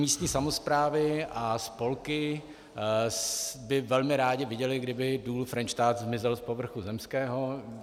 Místní samosprávy a spolky by velmi rády viděly, kdyby Důl Frenštát zmizel z povrchu zemského.